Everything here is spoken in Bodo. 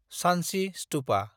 सान्चि स्तुपा